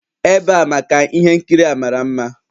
Ebe a maka ihe nkiri a mara mma